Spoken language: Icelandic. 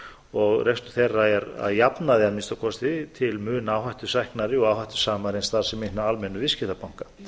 og rekstur þeirra er að jafnaði að minnsta kosti til muna áhættusæknari og áhættusamari en starfsemi hinna almennu viðskiptabanka